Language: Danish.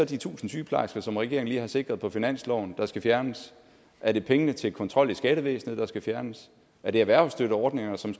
de tusind sygeplejersker som regeringen lige har sikret på finansloven der skal fjernes er det pengene til kontrol i skattevæsenet der skal fjernes er det erhvervsstøtteordningerne som